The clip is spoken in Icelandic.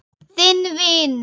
Þinn vinur.